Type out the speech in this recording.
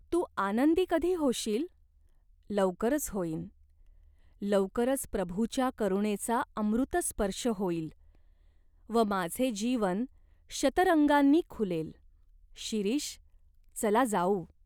तू आनंदी कधी होशील ?" "लवकरच होईन. लवकरच प्रभूच्या करुणेचा अमृतस्पर्श होईल व माझे जीवन शतरंगांनी खुलेल." "शिरीष, चला जाऊ.